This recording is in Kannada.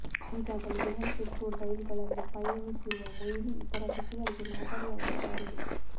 ಈಗಾಗಲೇ ದೆಹಲಿ ಪೆಟ್ರೋಲ್ ರೈಲುಗಳಲ್ಲೂ ಪಯಣಿಸಿರುವ ಮೊಯ್ಲಿ ಇತರ ಸಚಿವರಿಗೆ ಮಾದರಿಯಾಗಿದ್ದಾರೆ